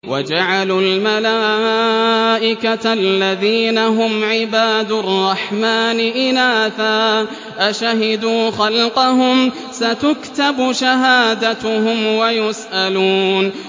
وَجَعَلُوا الْمَلَائِكَةَ الَّذِينَ هُمْ عِبَادُ الرَّحْمَٰنِ إِنَاثًا ۚ أَشَهِدُوا خَلْقَهُمْ ۚ سَتُكْتَبُ شَهَادَتُهُمْ وَيُسْأَلُونَ